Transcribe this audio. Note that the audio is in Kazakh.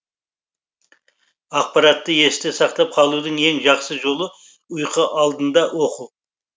ақпаратты есте сақтап қалудың ең жақсы жолы ұйқы алдында оқу